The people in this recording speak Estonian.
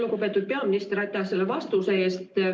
Lugupeetud peaminister, aitäh selle vastuse eest!